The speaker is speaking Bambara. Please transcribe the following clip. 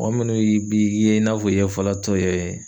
Mɔgɔ minnu yi b'i ye i n'a fɔ i ye falatɔ ye